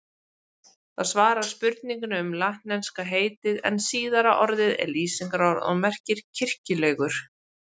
Það svarar spurningunni um latneska heitið en síðara orðið er lýsingarorð og merkir kirkjulegur.